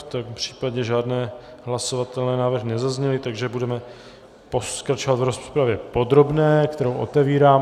V tom případě žádné hlasovatelné návrhy nezazněly, takže budeme pokračovat v rozpravě podrobné, kterou otevírám.